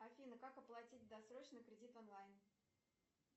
афина как оплатить досрочно кредит онлайн